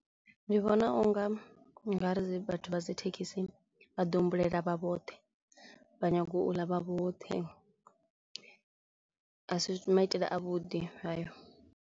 Ndi vhona u nga u nga ri vhathu vha dzi thekhisi vha ḓi humbulela vha vhoṱhe, vha nyago u ḽa vha vhoṱhe. A si maitele a vhuḓi hayo.